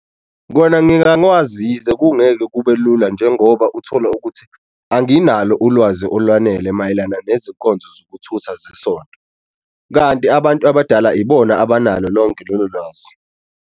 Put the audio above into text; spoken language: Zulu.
Kona ngingakwazi yize kungeke kube lula njengoba uthola ukuthi anginalo ulwazi olwanele mayelana nezinkonzo zokuthutha zesonto, kanti abantu abadala ibona abanalo lonke lolo lwazi.